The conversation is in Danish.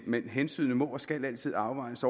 men hensynet må og skal altid afvejes